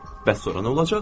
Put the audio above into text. Bəs sonra nə olacaq?